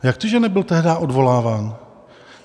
Jak to, že nebyl tehdy odvoláván?